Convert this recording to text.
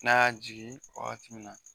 N'a jigi wagati min na.